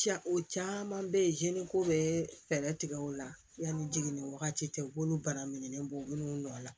Ca o caman bɛ yen hinɛ ko bɛ fɛɛrɛ tigɛ o la yanni jiginni wagati tɛ u b'olu bana minɛn bɔ u bɛ n'u nɔ la